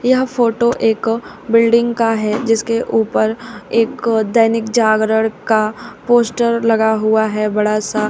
यह फोटो एक बिल्डिंग का है जिसके ऊपर एक दैनिक जागरण का पोस्टर लगा हुआ है बड़ा सा--